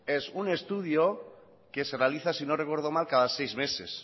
es un estudio que se realiza si no recuerdo mal cada seis meses